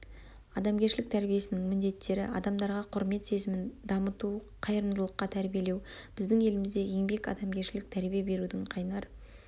адамгершілік тәрбиесінің міндеттері адамдарға құрмет сезімін дамыту қайырымдылыққа тәрбиелеу біздің елімізде еңбек адамгершілік тәрбие берудің қайнар